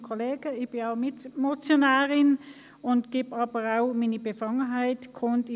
Ich bin Mitmotionärin und gebe auch meine Befangenheit bekannt: